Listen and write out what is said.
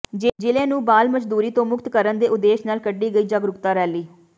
ਜ਼ਿਲ੍ਹੇ ਨੂੰ ਬਾਲ ਮਜ਼ਦੂਰੀ ਤੋਂ ਮੁਕਤ ਕਰਨ ਦੇ ਉਦੇਸ਼ ਨਾਲ ਕੱਢੀ ਗਈ ਜਾਗਰੂਕਤਾ ਰੈਲੀ